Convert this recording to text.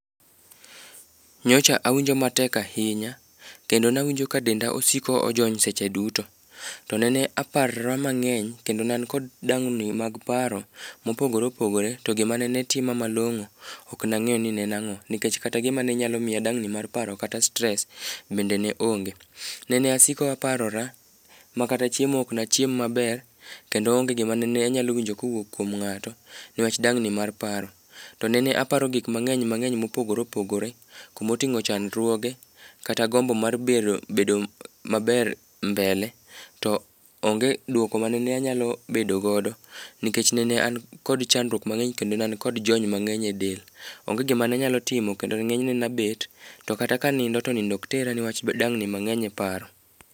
Nyocha awinjo matek ahinya kendo nawinjo ka denda osiko ojony seche duto. To nene aparo mang'eny kendo ne an kod dang'ni mag paro mopogore opogore, to gima ne ne tima malong'o, ok nang'eyo ni ne en ang'o nikech kata gima ne nyalo miya dang'ni mar paro kata stress bende ne onge. Ne asiko aparora, ma kata chiemo ok nachiem maber, kendo onge gima nene anyalo winjo kowuok kuom ng'ato nikech dang'ni mar paro. To nene aparo gik mang'eny mang'eny mopogore opogore kumoting'o chandruoge, kata gombo mar bedo maber mbele to onge dwoko manene anyalo bedo godo nikech an nene an kod chandruok mang'eny kendo nene an kod jony mang'eny e del. Onge gima nanyalo timo kendo ng'enyne nabet to kata kanindo to nindo ok tera nikech dang'ni mang'eny e paro.